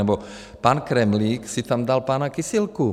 Nebo pan Kremlík si tam dal pana Kysilku.